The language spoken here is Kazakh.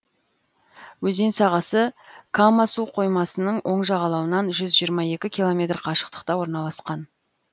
өзен сағасы кама суқоймасының оң жағалауынан жүз жиырма екі километр қашықтықта орналасқан